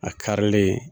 A karilen